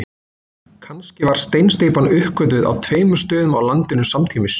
Kannski var steinsteypan uppgötvuð á tveimur stöðum á landinu samtímis.